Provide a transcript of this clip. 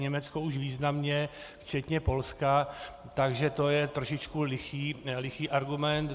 Německo už významně, včetně Polska, takže je to trošičku lichý argument.